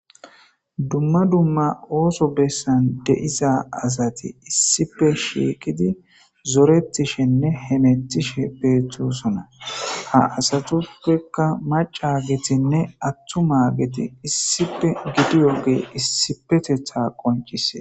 Dumma dumma ooso bessan de'iza asati issipe shiiqidi zoretishenne hemetishe beethosona. Ha asatuppekka maca gethinne attuma geti issipe gidi yogey issipetetha qoncise.